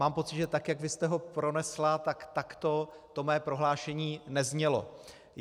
Mám pocit, že tak jak vy jste ho pronesla, takto to mé prohlášení neznělo.